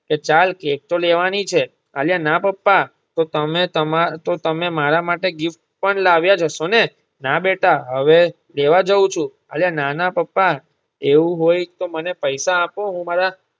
તો ચાલ કેક તો લેવાની છે આલિયા ના પપ્પા તો તમે તમા તો તમે મારા માટે gift પણ લાવ્યા જ હશો ને. ના બેટા હવે લેવા જવું છુ. આલિયા ના ના પપ્પા એવું હોય તો મને પૈસા આપો હું મારા